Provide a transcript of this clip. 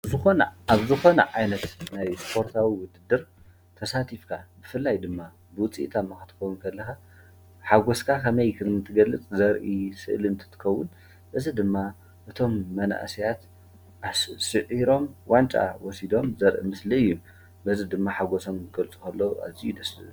ኣብ ዝኮነ ዓይነት ስፖርታዊ ውድድር ተሳቲፍካ ብፍላይ ድማ ፅቡቅ ውፅኢት ኣምፂእካ ክትከውን ከለካ ሓጎስካ ከመይ ክትገልፅ ከም እትክእል ዘርኢ ስእሊ እትትከውን እዚ ድማ እቶም መናእሰያት ስዒሮም ዋንጫ ወሲዶም ዘርኢ ምስሊ እዩ ፡፡ በዚ ድማ ሓጎሶም ክገልፁ ከለው ኣዝዩ ደስ ዝብል፡፡